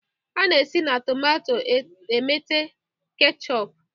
A na-esi na tomato emete ketchọp.